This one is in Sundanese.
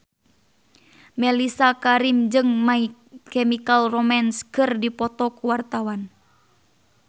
Mellisa Karim jeung My Chemical Romance keur dipoto ku wartawan